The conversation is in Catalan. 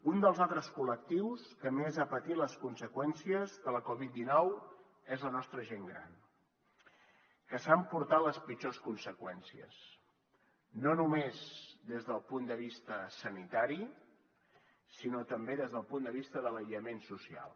un dels altres col·lectius que més ha patit les conseqüències de la covid dinou és la nostra gent gran que s’ha emportat les pitjors conseqüències no només des del punt de vista sanitari sinó també des del punt de vista de l’aïllament social